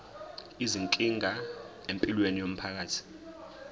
izinkinga empilweni yomphakathi